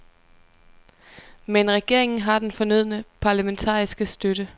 Men regeringen har den fornødne parlamentariske støtte.